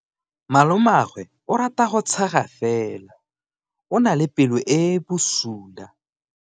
Malomagwe o rata go tshega fela o na le pelo e e bosula.